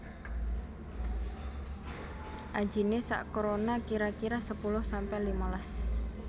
Ajiné sak krona kira kira sepuluh sampe limalas